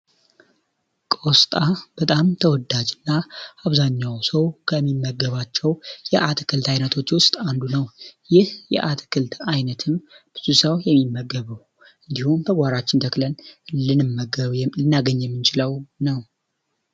ቆስጣን በጣም ተወዳጅና አብዛኛው ሰው ከሚመገባቸው የአትክልት አይነቶች ውስጥ አንዱ ነው ይህ የአትክልት አይነት ብዙ ሰው የሚመገበው እንዲሁም ከጓሮአችን ተክለን ልንመገበው የምንችለው ነው።